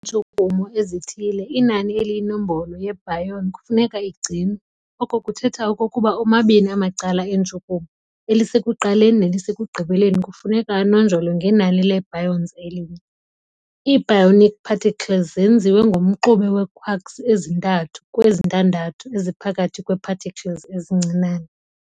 ntshukumo ezithile, inani eliyinombolo ye-Baryon kufuneka igcinwe, oko kuthetha okokuba omabini amacala entshukumo, elisekuqaleni nelisekugqibeleni kufuneka anonjolwe ngenani lee-Baryons elinye. Ii- Baryonic particles zenziwe ngomxube we-quarks ezi-3 kwezin-ntandathu, eziphakathi kwee-particles ezincinane.